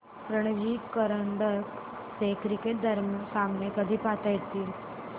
रणजी करंडक चे क्रिकेट सामने कधी पाहता येतील